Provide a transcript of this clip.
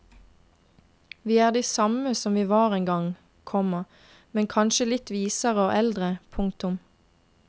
Vi er de samme som vi var en gang, komma men kanskje litt visere og eldre. punktum